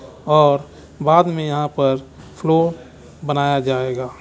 और बाद में यहाँ पर फ्लो बनाया जाएगा।